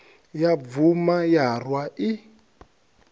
ya bvuma ya rwa i